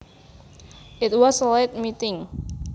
It was a late meeting